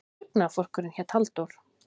Dugnaðarforkurinn hét Halldór.